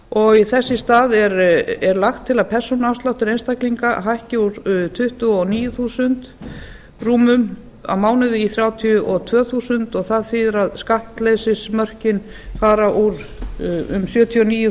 og þess í stað þess er lagt til að persónuafsláttur einstaklinga hækki úr tuttugu og níu þúsund krónur rúmum á mánuði í þrjátíu og tvö þúsund krónur og það þýðir að skattleysismörkin fara úr sjötíu og níu